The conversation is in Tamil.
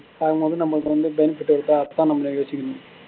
ஆக மொத்தம் நம்மள்ட இருந்து benefit இருக்கா அதான் நம்ம யோசிக்கனும்